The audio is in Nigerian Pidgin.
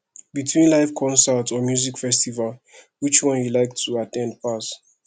between live concert and music festival which one you like to at ten d pass